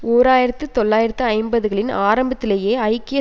ஓர் ஆயிரத்து தொள்ளாயிரத்து ஐம்பதுகளின் ஆரம்பத்திலேயே ஐக்கிய